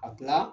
Ka tila